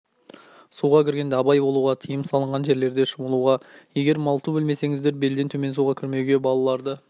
суға кіргенде абай болуға тиым салынған жерлерде шомылуға егер малту білмесеңіздер белден төмен суға кірмеуге балаларды